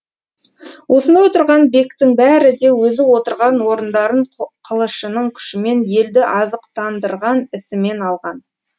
осында отырған бектің бәрі де өзі отырған орындарын қылышының күшімен елді азықтандырған ісімен алған